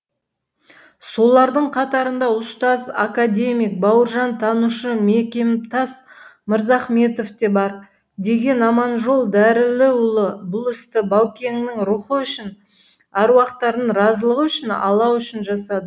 солардың қатарында ұстаз академик бауыржантанушы мекемтас мырзахметов те бар деген аманжол дәріліұлы бұл істі баукеңнің рухы үшін аруақтардың разылығы үшін алла үшін жасадым